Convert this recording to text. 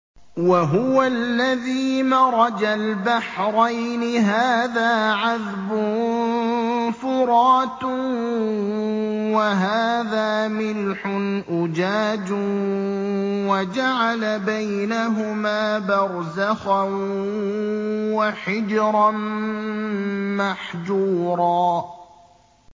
۞ وَهُوَ الَّذِي مَرَجَ الْبَحْرَيْنِ هَٰذَا عَذْبٌ فُرَاتٌ وَهَٰذَا مِلْحٌ أُجَاجٌ وَجَعَلَ بَيْنَهُمَا بَرْزَخًا وَحِجْرًا مَّحْجُورًا